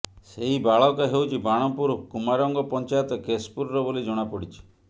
ସେହି ବାଳକ ହେଉଛି ବାଣପୁର କୁମାରଙ୍ଗ ପଞ୍ଚାୟତ କେଶପୁରର ବୋଲି ଜଣାପଡ଼ିଛି